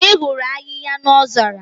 Ị hụrụ ahịhịa n'ozara?